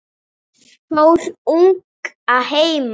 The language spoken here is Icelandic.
Fór ung að heiman.